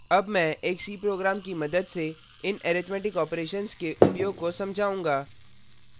अब मैं एक c program की मदद से इन arithmetic operations के उपयोग को समझाऊँगा